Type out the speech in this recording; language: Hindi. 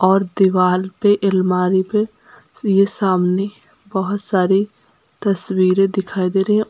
और दीवाल पे अलमारी पे ये सामने बहुत सारी तस्वीरें दिखाई दे रही हैं।